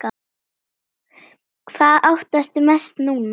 Hvað óttastu mest núna?